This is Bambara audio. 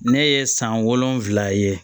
Ne ye san wolonwula ye